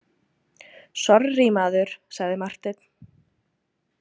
Sorrý, maður, sagði Marteinn.